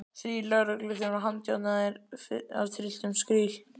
Þrír lögregluþjónar handjárnaðir af trylltum skríl.